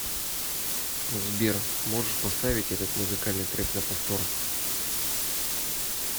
сбер можешь поставить этот музыкальный трек на повтор